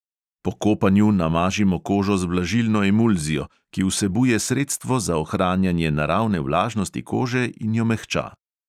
Po kopanju namažimo kožo z vlažilno emulzijo, ki vsebuje sredstvo za ohranjanje naravne vlažnosti kože in jo mehča.